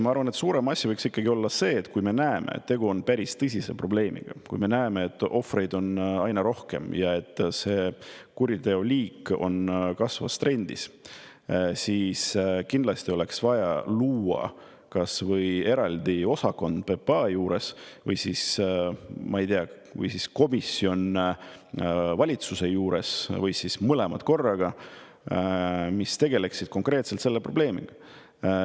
Ma arvan, et suurem asi võiks ikkagi olla see, et kui me näeme, et tegu on päris tõsise probleemiga, kui me näeme, et ohvreid on aina rohkem ja et see kuriteoliik on kasvavas trendis, siis kindlasti oleks vaja luua kas või eraldi osakond PPA juurde või siis, ma ei tea, komisjon valitsuse juurde või mõlemad korraga, mis tegeleksid konkreetselt selle probleemiga.